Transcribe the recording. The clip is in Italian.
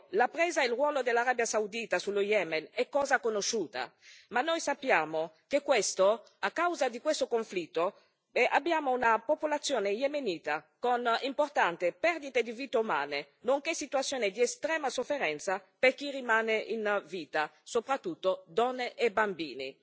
La presa e il ruolo dell'Arabia Saudita sullo Yemen sono cosa conosciuta, ma noi sappiamo che, a causa di questo conflitto, abbiamo una popolazione yemenita con importanti perdite di vite umane, nonché una situazione di estrema sofferenza per chi rimane in vita, soprattutto donne e bambini.